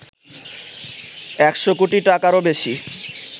১০০ কোটি টাকারও বেশি